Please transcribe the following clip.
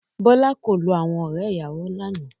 Bọ́lá kò lo àwọn ọ̀rẹ́-ìyàwọ lánàá.